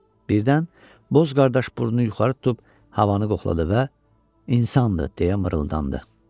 Birdən boz qardaş burnunu yuxarı tutub havanı qoxladı və insandır deyə mırıldandı.